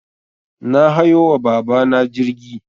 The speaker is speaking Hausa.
Na hayo wa baba na jirgi